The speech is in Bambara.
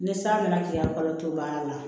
Ni san nana k'i ya kalo to baara la